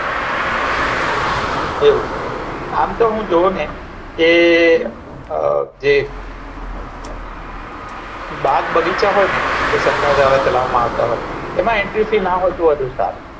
એવું આમ તો હું જોવું કે જે બાગ બગીચા હોય ને એ સરકાર દ્વારા ચાલવા માં આવે એમાં એન્ત્ર્ય ફી ના હોય તો વધુ સારું